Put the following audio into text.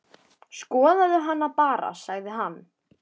Skoðaðu hana bara, sagði hann.